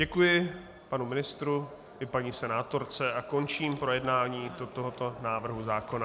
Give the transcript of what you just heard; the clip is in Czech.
Děkuji panu ministru i paní senátorce a končím projednání tohoto návrhu zákona.